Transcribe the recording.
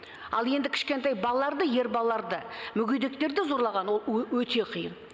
ал енді кішкентай балаларды ер балаларды мүгедектерді зорлаған ол өте қиын